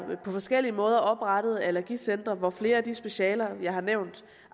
forskellig måde oprettet allergicentre hvor flere af de specialer jeg har nævnt